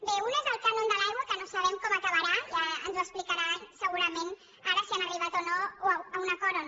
bé un és el cànon de l’aigua que no sabem com acabarà ja ens ho explicaran segurament ara si han arribat a un acord o no